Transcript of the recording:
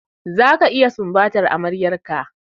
Zaka iya sumbatar amaryar ka!